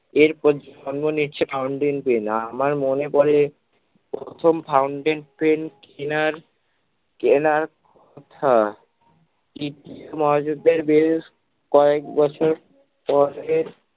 এর নিচ্ছে fountain pen আমার মনে পড়ে প্রথম fountain pen কেনার কেনার কথা দ্বিতীয় মহাযুদ্ধের বেশ কয়েক বছর পরে